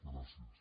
gràcies